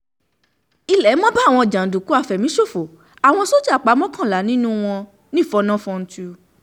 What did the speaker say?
ilé mo bá àwọn jàǹdùkú àfẹ̀míṣòfò àwọn sójà pa mọ́kànlá nínú wọn nífọ̀nà-fọ́ńtù